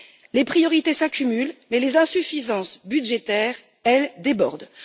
Les priorités s'accumulent mais les insuffisances budgétaires, elles, débordent.